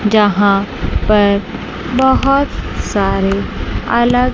जहां पर बहोत सारे अलग--